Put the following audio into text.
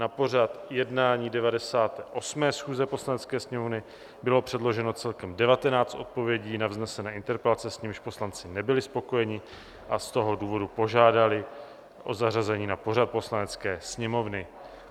Na pořad jednání 98. schůze Poslanecké sněmovny bylo předloženo celkem 19 odpovědí na vznesené interpelace, s nimiž poslanci nebyli spokojeni, a z toho důvodu požádali o zařazení na pořad Poslanecké sněmovny.